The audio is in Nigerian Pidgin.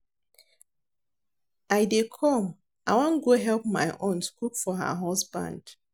I dey come I wan go help my aunt cook for her husband